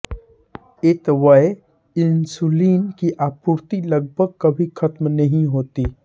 अतएव इंसुलिन की आपूर्ति लगभग कभी खत्म ही नही होती